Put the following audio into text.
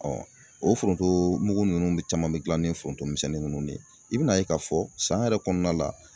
o foronto mugu ninnu de caman bɛ gila ni foronto misɛnnin ninnu de ye i bɛna ye k'a fɔ san yɛrɛ kɔnɔna la.